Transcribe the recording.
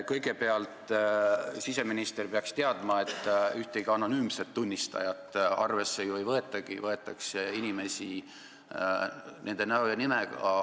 Kõigepealt, siseminister peaks teadma, et ühtegi anonüümset tunnistajat ju arvesse ei võetagi, võetakse arvesse inimesi nende näo ja nimega.